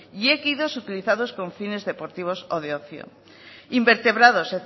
y équidos utilizados con fines deportivos o de ocio invertebrados